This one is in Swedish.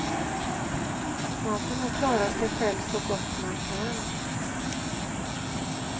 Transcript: Man får nog klara sig själv så gott man kan.